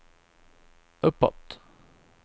uppåt